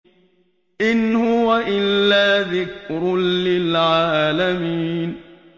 إِنْ هُوَ إِلَّا ذِكْرٌ لِّلْعَالَمِينَ